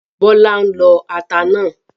Bọ́lá ń lọ ata náà